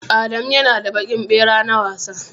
Adamu ya na da baƙin ɓera na wasa